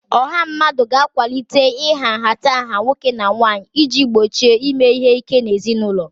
Ọha mmadụ ga-akwalite ịha nhatanha nwoke na nwanyị iji gbochie ime ihe ike n'ezinụlọ